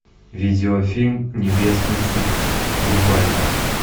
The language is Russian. видеофильм небесный суд врубай